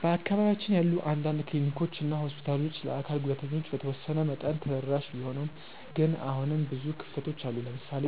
በአካባቢያችን ያሉ አንዳንድ ክሊኒኮች እና ሆስፒታሎች ለአካል ጉዳተኞች በተወሰነ መጠን ተደራሽ ቢሆኑም ግን አሁንም ብዙ ክፍተቶች አሉ። ለምሳሌ